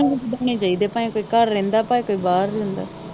ਕਿਹੇ ਨੂੰ ਨਹੀਂ ਵਧਾਉਣੇ ਚਾਹੀਦੇ ਭਾਵੇ ਕੋਈ ਘਰ ਰਹਿੰਦਾ ਭਾਵੇ ਕੋਈ ਬਾਹਰ ਰਹਿੰਦਾ।